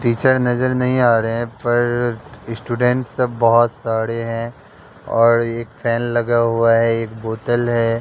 Teacher नजर नहीं आ रहे हैं पर स्टूडेंट सब बहुत सारे हैं और एक फैन लगा हुआ है एक बोतल है।